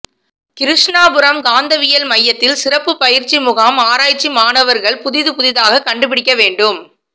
கிருஷ்ணாபுரம் காந்தவியல் மையத்தில் சிறப்பு பயிற்சி முகாம் ஆராய்ச்சி மாணவர்கள் புதிது புதிதாக கண்டுபிடிக்க வேண்டும்